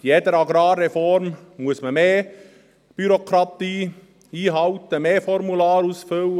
Bei jeder Agrarreform muss man mehr Bürokratie einhalten, mehr Formulare ausfüllen.